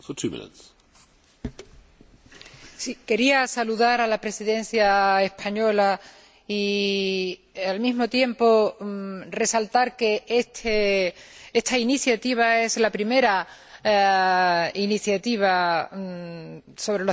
Quería saludar a la Presidencia española y, al mismo tiempo, resaltar que esta iniciativa es la primera iniciativa sobre los derechos procesales, que ha sido un tema que